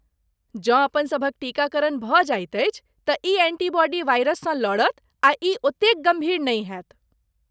जँ अपनसभक टीकाकरण भऽ जाइत अछि, तँ ई एंटीबॉडी वायरससँ लड़त आ ई ओतेक गम्भीर नहि होयत।